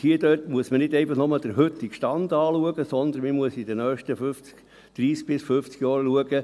Man muss dabei nicht einfach den heutigen Stand anschauen, sondern man muss für die nächsten dreissig bis fünfzig Jahren schauen: